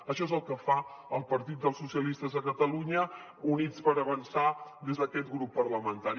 això és el que fa el partit dels socialistes de catalunya units per avançar des d’aquest grup parlamentari